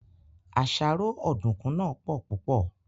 Àṣàrò Ọ̀dùnkún náà pò púpò